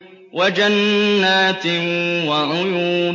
وَجَنَّاتٍ وَعُيُونٍ